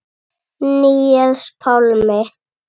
Níels Pálmi.